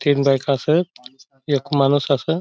तीन बाईक आसत एक माणुस असा--